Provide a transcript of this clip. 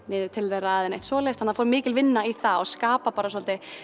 niður til þeirra eða neitt svoleiðis þannig að það fór mikil vinna í það og að skapa svolítið